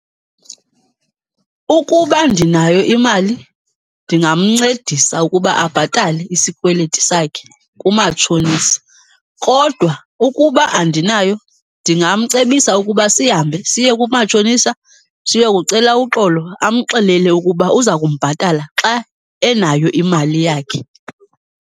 Ukuba ndinayo imali ndingamncedisa ukuba abhatale isikweleti sakhe kumatshonisa. Kodwa ukuba andinayo, ndingamcebisa ukuba sihambe siye kumatshonisa siyokucela uxolo, amxelele ukuba uza kumbhatala xa enayo imali yakhe.